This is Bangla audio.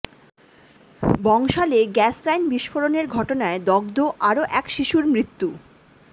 বংশালে গ্যাস লাইন বিস্ফোরণের ঘটনায় দগ্ধ আরও এক শিশুর মৃত্যু